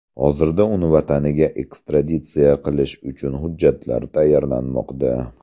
Hozirda uni vataniga ekstraditsiya qilish uchun hujjatlar tayyorlanmoqda.